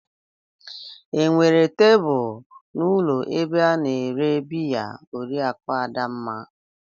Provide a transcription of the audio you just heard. Enwere tebụl n'ụlọ ebe a na-ere biya Oriakụ Adamma?